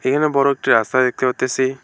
এখানে বড় একটি রাস্তা দেখতে পারতেসি।